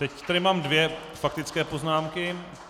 Teď tady mám dvě faktické poznámky.